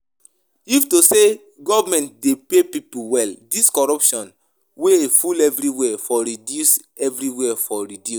If to say government dey pay people well, dis corruption wey dey full everywhere for reduce everywhere for reduce